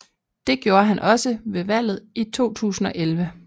Det gjorde han også ved valget i 2011